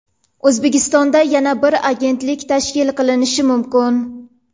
O‘zbekistonda yana bir agentlik tashkil qilinishi mumkin.